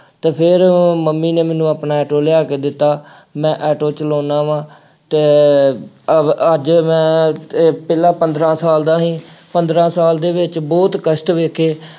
ਅਤੇ ਫੇਰ ਉਹ ਮੰਮੀ ਨੇ ਮੈਨੂੰ ਆਪਣਾ ਆਟੋ ਲਿਆ ਕੇ ਦਿੱਤਾ। ਮੈਂ ਆਟੋ ਚਲਾਉਂਦਾ ਵਾ ਅਤੇ ਅਹ ਅੱਜ ਮੈਂ ਇਹ ਪਹਿਲਾ ਪੰਦਰਾਂ ਸਾਲ ਦਾ ਸੀ। ਪੰਦਰਾਂ ਸਾਲ ਦੇ ਵਿੱਚ ਬਹੁਤ ਕਸ਼ਟ ਵੇਖੇ।